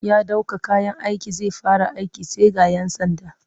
Ya ɗauko kayan aiki zai fara aiki sai ga 'yan sanda